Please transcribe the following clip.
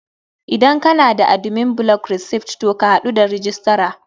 Idan kana da admin block receipt to ka hadu da registrar.